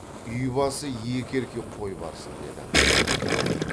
үй басы екі еркек қой барсын деді